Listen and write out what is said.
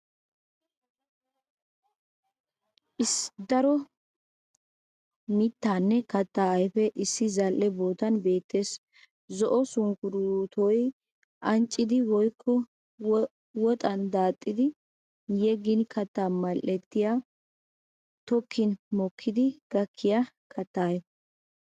Daro mittaanne kattaa ayfeti issi zal'e bootan beettes. Zo'o sunkkuruutoy anccidi woykko woxan daaxxidi yeggin katta mal'ettiya tokkin mokkidi gakkiya kattaa ayfe.